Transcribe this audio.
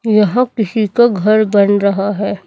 यहां किसी का घर बन रहा है।